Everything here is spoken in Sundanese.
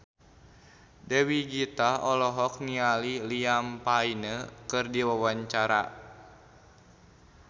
Dewi Gita olohok ningali Liam Payne keur diwawancara